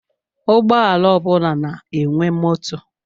Ụgbọala ọ bụla na-enwe moto.